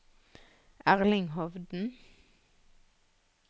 Erling Hovden